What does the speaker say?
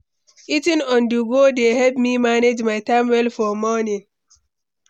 Eating on-the-go dey help me manage my time well for morning.